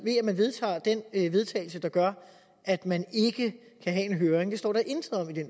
ved vedtagelse der gør at man ikke kan have en høring det står der intet om i det